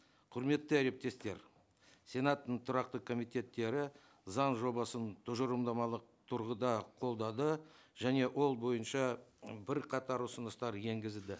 құрметті әріптестер сенаттың тұрақты комитеттері заң жобасын тұжырымдамалық тұрғыда қолдады және ол бойынша бірқатар ұсыныстар енгізілді